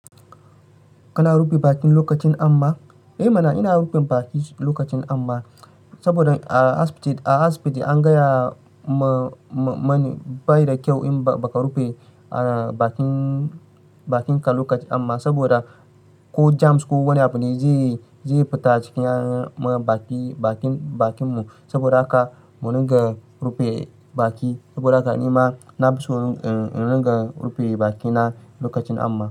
Kana rufe baki lokacin amma? E mana ina rufe baki lokacin amma saboda a asibiti an gaya mani bai da kyau in baka rufe bakin ka lokacin amma saboda ko germs ko wani abu ne zai fita a cikin bakin mu saboda haka mu dinga rufe baki saboda haka nima. Na fi so in ringa rufe bakina lokacin amma.